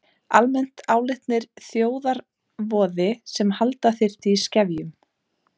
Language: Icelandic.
Almennt álitnir þjóðarvoði sem halda þyrfti í skefjum.